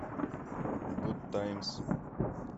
гуд таймс